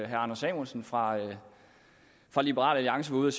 herre anders samuelsen fra liberal alliance var ude